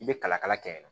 I bɛ kalakala kɛ yen